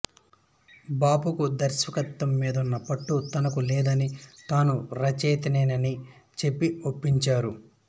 బాపుకు దర్శకత్వం మీదున్న పట్టు తనకు లేదని తాను రచయితనేనని చెప్పి ఒప్పించారు